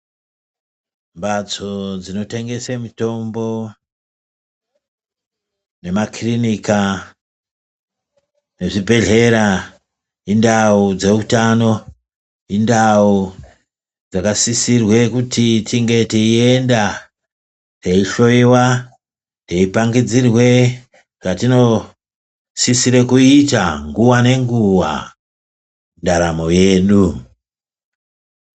Mhatso dzinotengesa mitombo nemakirinika nezvibhedhlera, indau dzeutano. Indau dzakasisirwe kuti tinge teienda teihloyiwa teipangidzirwe zvetinosisire kuita nguva nenguva mundaramo yedu.